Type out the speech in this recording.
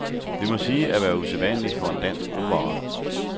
Det må siges at være usædvanligt for en dansk opera.